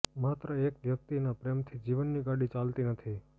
માત્ર એક વ્યક્તિના પ્રેમથી જીવનની ગાડી ચાલતી નથી